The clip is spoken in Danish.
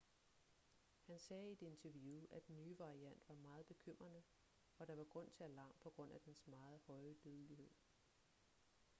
han sagde i et interview at den nye variant var meget bekymrende og at der var grund til alarm på grund af dens meget høje dødelighed